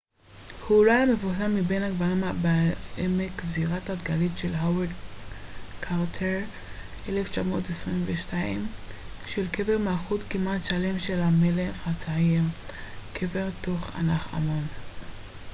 קבר תות ענח' אמון kv62. kv62 הוא אולי המפורסם מבין הקברים בעמק זירת התגלית של הווארד קרטר ב-1922 של קבר מלכות כמעט שלם של המלך הצעיר